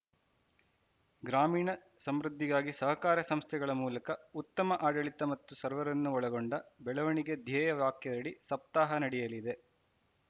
ಗ್ರಾಮೀಣ ಸಮೃದ್ಧಿಗಾಗಿ ಸಹಕಾರ ಸಂಸ್ಥೆಗಳ ಮೂಲಕ ಉತ್ತಮ ಆಡಳಿತ ಮತ್ತು ಸರ್ವರನ್ನು ಒಳಗೊಂಡ ಬೆಳವಣಿಗೆ ಧ್ಯೇಯ ವಾಕ್ಯದಡಿ ಸಪ್ತಾಹ ನಡೆಯಲಿದೆ